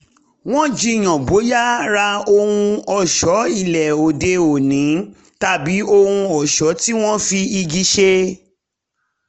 wọ́n jiyàn bóyá ra ohun ọ̀ṣọ́ ilé òde òní tàbí ohun ọ̀ṣọ́ tí wọ́n fi igi ṣe